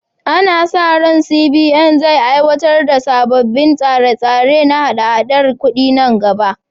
Ana sa ran CBN zai aiwatar da sabbin tsare-tsare na haɗa-haɗar kudi nan gaba.